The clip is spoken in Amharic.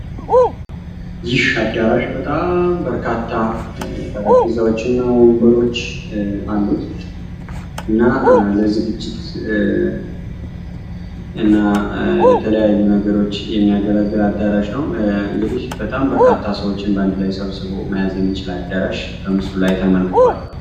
ይህ አዳራሽ በጣም በርካታ ጠረጴዛዎች እና ወንበሮች አሉት። እናም ለዝግጅት እና ለተለያዩ ነገሮች የሚያገለግል አዳራሽ ነው። እንግዲህ በጣም በርካታ ሰዎችን ሰብስቦ መያዝ የሚያስችል አዳራሽ በምስሉ ላይ ተመልክቷል።